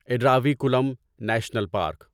Eravikulam national park